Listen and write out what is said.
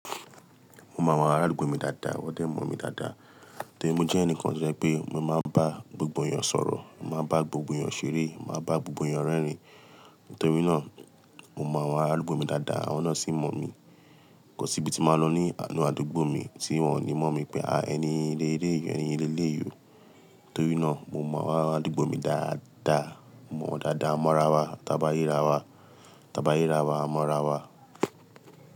Mo mọ àwọn ará àdúgbò mi dáadáa, wọ́n dẹ̀ mọ̀ mí dáadáa. Nítorí mo jẹ́ ẹnìkan tí ó jẹ́ pé mo máa ń bá gbogbo èèyàn sọ̀rọ̀, màá bá gbogbo èèyàn ṣeré, màá bá gbogbo èèyàn rẹ́rìn. Nítorí náà, mo mọ àwọn ará àdúgbò mi dáadáa, wọ́n náà sì mọ̀ mí. Kò sí ibi tí màá lọ ní inú àdúgbò mi tí wọ́n ò ní mọ̀ mi pé, "à, ẹni yì lélèyí yọ, ẹni le léè yọ." Nítorí náà, mo mọ àwọn ará àdúgbò mi dáadáa, mọ̀ wọ́n dáadáa. Mọ́ra wa, t'ábá rí ra wa, t'ábá rí ra wa, mọ́ra wa.